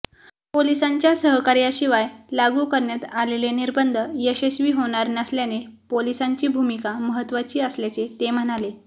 पोलिसांच्या सहकार्याशिवाय लागू करण्यात आलेले निर्बंध यशस्वी होणार नसल्याने पोलिसांची भूमिका महत्त्वाची असल्याचे ते म्हणाले